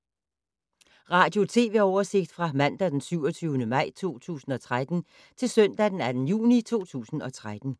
Radio/TV oversigt fra mandag d. 27. maj 2013 til søndag d. 2. juni 2013